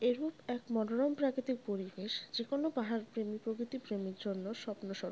এরূপ এক মনোরম প্রাকৃতিক পরিবেশ যে কোন পাহাড় প্রেমী প্রকৃতি প্রেমীর জন্য স্বপ্ন স্বরূ--